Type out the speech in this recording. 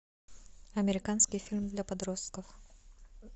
американский фильм для подростков